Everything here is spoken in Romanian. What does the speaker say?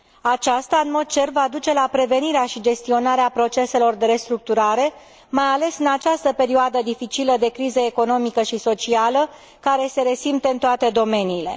Aceasta va duce, în mod cert, la prevenirea și gestionarea proceselor de restructurare, mai ales în această perioadă dificilă de criză economică și socială, care se resimte în toate domeniile.